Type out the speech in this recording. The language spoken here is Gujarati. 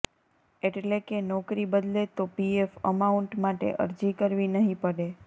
એટલે કે નોકરી બદલે તો પીએફ અમાઉંટ માટે અરજી કરવી નહીં પડે